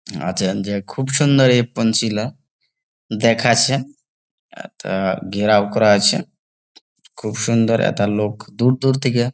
আছেন যে খুব সুন্দর এই পাঞ্চশিলা দেখাচ্ছে অথা ঘেরাও করা আছে। খুব সুন্দর এথা লোক দূর দূর থেকে--